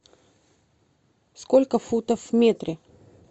сколько футов в метре